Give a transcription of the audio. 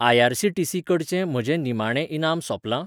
IRCTC. कडचें म्हजें निमाणें इनाम सोंपलां?